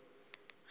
aku khova usonti